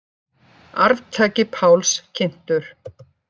Arftaki Páls kynntur